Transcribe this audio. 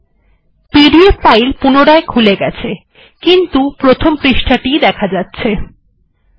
আপনি দেখতে পাচ্ছেন এটি পুনরায় খুলে গেছে কিন্তু প্রথন পৃষ্ঠটি ই দেখা যাচ্ছে